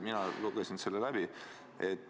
Mina lugesin selle läbi.